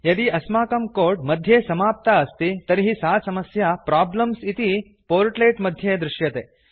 यदि अस्माकं कोड् मध्ये समस्या अस्ति तर्हि सा समस्या प्रोब्लेम्स इति पोर्ट्लेट् मध्ये दृश्यते